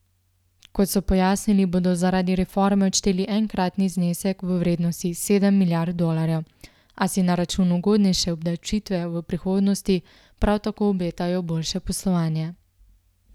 Kot so pojasnili, bodo zaradi reforme odšteli enkratni znesek v vrednosti sedem milijard dolarjev, a si na račun ugodnejše obdavčitve v prihodnosti prav tako obetajo boljše poslovanje.